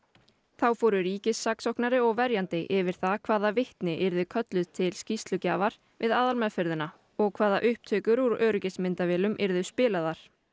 þá fóru ríkissaksóknari og verjandi yfir það hvaða vitni yrðu kölluð til skýrslugjafar við aðalmeðferðina og hvaða upptökur úr öryggismyndavélum yrðu spilaðar